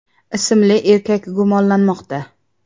ismli erkak gumonlanmoqda.